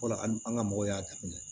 Fɔlɔ an ga mɔgɔw y'a daminɛ